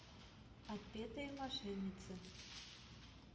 отпетые мошенницы